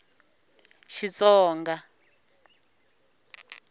xitsonga